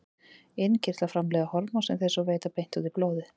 Innkirtlar framleiða hormón sem þeir svo veita beint út í blóðið.